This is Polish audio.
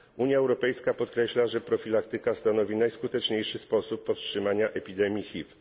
Unia Europejska podkreśla, że profilaktyka stanowi najskuteczniejszy sposób powstrzymania epidemii HIV.